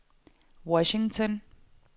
Washington